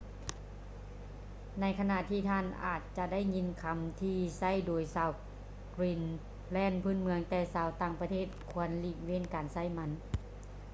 ໃນຂະນະທີ່ທ່ານອາດຈະໄດ້ຍິນຄຳທີ່ໃຊ້ໂດຍຊາວກຣີນແລນພື້ນເມືອງ ແຕ່ຊາວຕ່າງປະເທດຄວນຫຼີກເວັ້ນການໃຊ້ມັນ